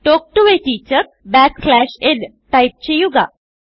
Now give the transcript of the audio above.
talk to a teacher backslash nടൈപ്പ് ചെയ്യുക